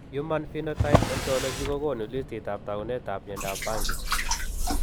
Human phenotype ontology kokoonu listiitab taakunetaab myondap banki?